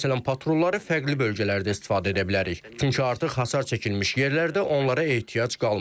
Məsələn, patrolları fərqli bölgələrdə istifadə edə bilərik, çünki artıq hasar çəkilmiş yerlərdə onlara ehtiyac qalmır.